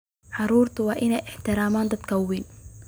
Carruurtu waa inay ixtiraamaan dadka ka weyn.